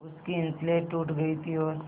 उसकी स्लेट टूट गई थी और